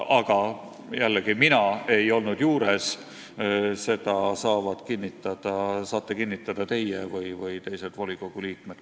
Aga jällegi, mina ei olnud juures, seda, kuidas see täpselt oli, saate öelda teie või saavad öelda teised volikogu liikmed.